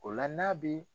O la n'a bi